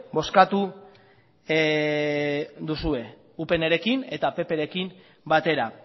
bozkatu duzue upnrekin eta pprekin batera